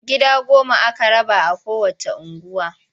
Gida goma-goma aka rabawa a kowacce unguwa.